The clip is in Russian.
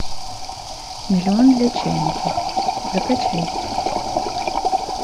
миллион для чайников закачай